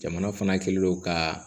Jamana fana kɛlen don ka